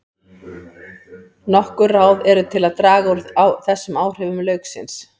Nokkur ráð eru til að draga úr þessum áhrifum lauksins.